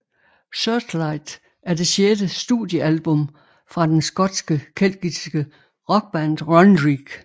Searchlight er det sjette studiealbum fra den skotske keltiske rockband Runrig